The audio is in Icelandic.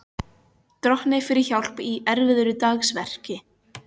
Drottni fyrir hjálp í erfiðu dagsverki.